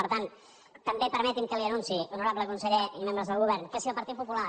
per tant també permeti’m que li anunciï honorable conseller i membres del govern que si el partit popular